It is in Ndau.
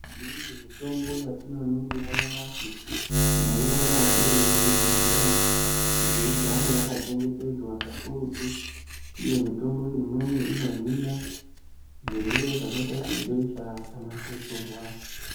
Imweni mitombo yatinoningira nyamashi tinoiona iri muchibhehleya kuti igare yakachengetedzwa kakurutu uye mitombo imweni inohina zvirwere zvakaita se besha kana gotsorwa.